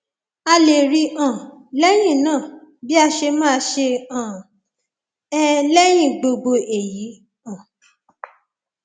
a lè rí i um lẹyìn náà bí a ṣe máa ṣe um é lẹyìn gbogbo èyí um